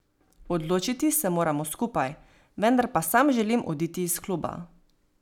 Odločiti se moramo skupaj, vendar pa sam želim oditi iz kluba.